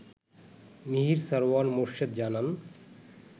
মিহির সারওয়ার মোর্শেদ জানান